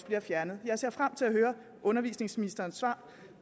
bliver fjernet jeg ser frem til at høre undervisningsministerens svar